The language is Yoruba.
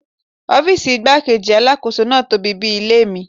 Ọ́fíìsì igbá-kejì Alákóso náà tóbi bí i ilé mi.